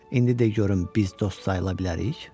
İndi də görün biz dost sayıla bilərik?